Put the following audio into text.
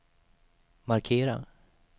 markera